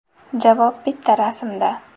Javob bitta rasmda.